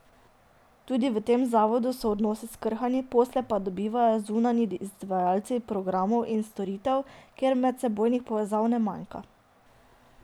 Tudi v tem zavodu so odnosi skrhani, posle pa dobivajo zunanji izvajalci programov in storitev, kjer medsebojnih povezav ne manjka.